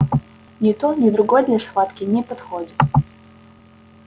ни то ни другое для схватки не подходит